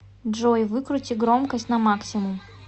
джой выкрути громкость на максимум